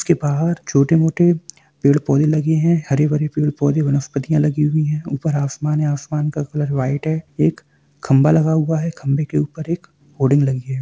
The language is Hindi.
--के बहार छोटे मोटे पेड़-पौधे लगे है हरे-भरे पेड़-पौधे वनस्पतियां लगी हुई है ऊपर आसमान है आसमान का कलर व्हाइट हैएक खम्भा लगा हुआ है खम्भे के ऊपर एक होर्डिंग लगी है।